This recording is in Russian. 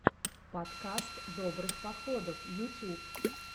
подкаст добрых походов ютюб